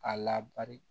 A labari